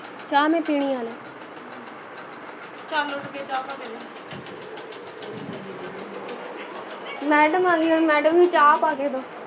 ਚਾਹ ਮੈਂ ਪੀਣੀ ਹੈ ਹਲੇ ਚਲ ਉੱਠ ਕੇ ਚਾਹ ਪਾਦੇ madam ਆਗੀ ਹੁਣ madam ਨੂੰ ਚਾਹ ਪਾ ਕੇ ਦੋ